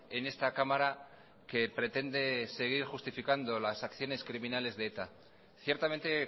en esta cámara que pretende seguir justificando las acciones criminales de eta